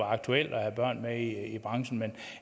aktuelt at have børn med i branchen men